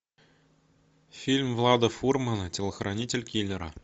фильм влада фурмана телохранитель киллера